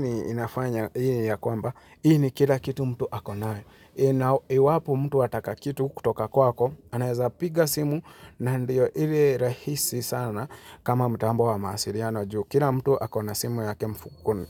ni inafanya, hii ni ya kwamba, hii ni kila kitu mtu akonayo. Inao, iwapo mtu ataka kitu kutoka kwako, anaweza piga simu na ndiyo ili rahisi sana kama mtambo wa mawasiriano juu. Kila mtu akona simu yake mfukoni.